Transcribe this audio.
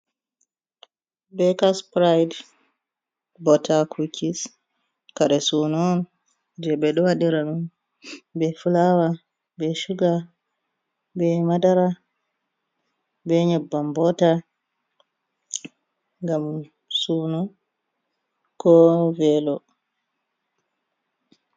Bekas sipirayit, botta, kukis, kare sunu on je be fulawa be shuga, be madara, be nyabbam botta gam suunu ko velo.